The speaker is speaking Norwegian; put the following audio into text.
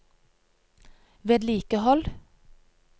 vedlikehold